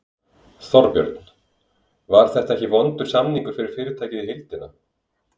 Þorbjörn: Var þetta ekki vondur samningur fyrir fyrirtækið í heildina?